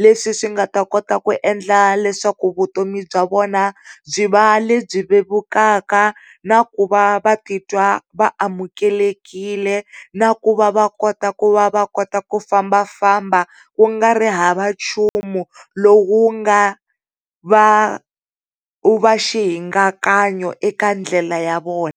leswi swi nga ta kota ku endla leswaku vutomi bya vona byi va lebyi vevukaka na ku va vatitwa vaamukeri na ku va va kota ku va kota ku fambafamba kungari hava nchumu lowu nga va, u va xihingakanyo eka ndlela ya vona.